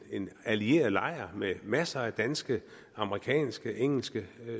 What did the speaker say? allieret lejr med masser af danske amerikanske engelske